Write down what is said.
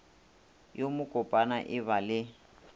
yo mokopana e ba le